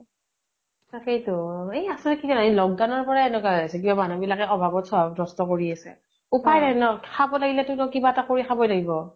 তাকেই তো । আচলতে কি জানা এই lock down এনেকুৱা হৈ আছে । কিয় মানুহ বিলাকে অভাৱত সভাৱ নস্ত কৰি আছে । উপায় নাই ন, খাব লাগিলে কিবা এটা কৰি তো খাবই লাগিব ।